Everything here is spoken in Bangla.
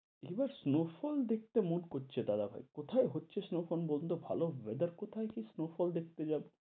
এবার snow fall দেখতে মন করছে দাদাভাই, কোথায় হচ্ছে snow fall বলুনতো ভাল weather কোথায় কি snow fall দেখতে যাব।